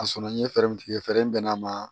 A sɔnna n ye fɛɛrɛ min tigɛ fɛɛrɛ bɛ n'a ma